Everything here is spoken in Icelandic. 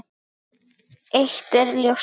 En eitt er ljóst.